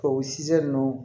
O sisi ninnu